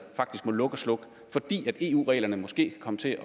faktisk må lukke og slukke fordi eu reglerne måske kan komme til